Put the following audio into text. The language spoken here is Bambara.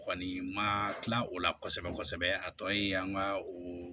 Kɔni ma kila o la kosɛbɛ kosɛbɛ a tɔ ye an ka oo